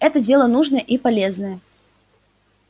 это дело нужное и полезное